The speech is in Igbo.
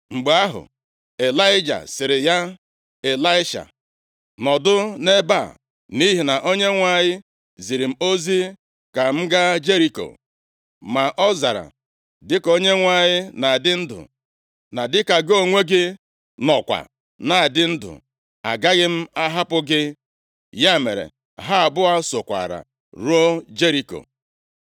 Mgbe ahụ, Ịlaịja sịrị ya, “Ịlaisha, nọdụ nʼebe a, nʼihi na Onyenwe anyị ziri m ozi ka m gaa Jeriko.” Ma ọ zara, “Dịka Onyenwe anyị na-adị ndụ, na dịka gị onwe gị nọkwa na-adị ndụ, agaghị m ahapụ gị.” Ya mere ha abụọ sokwaara ruo Jeriko.